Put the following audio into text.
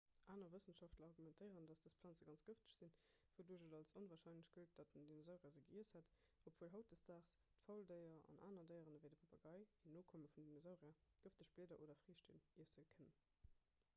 aner wëssenschaftler argumentéieren datt dës planze ganz gëfteg sinn wouduerch et als onwarscheinlech gëllt datt en dinosaurier se giess hätt obwuel hautdesdaags d'fauldéier an aner déieren ewéi de papagei en nokomme vum dinosaurier gëfteg blieder oder friichten iessen kënnen